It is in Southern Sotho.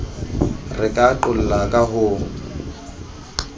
re ka qolla ka ho